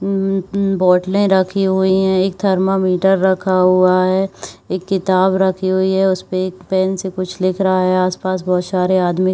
अम्म बॉटलें रखी हुई है एक थर्मामीटर रखा हुआ है एक किताब रखी हुई है उसपे एक पेन से कुछ लिख रहा है आस-पास बहोत सारे आदमी ख़--